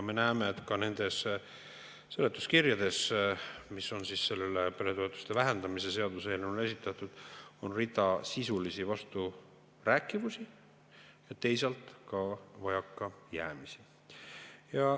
Me näeme, et ka nendes seletuskirjades, mis on peretoetuste vähendamise seaduseelnõu kohta esitatud, on rida sisulisi vasturääkivusi, teisalt ka vajakajäämisi.